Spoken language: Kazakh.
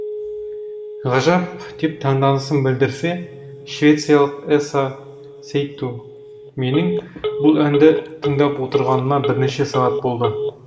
ғажап деп таңданысын білдірсе швециялық эса сейтту менің бұл әнді тыңдап отырғаныма бірнеше сағат болды